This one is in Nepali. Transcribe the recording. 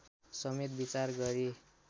समेत विचार गरी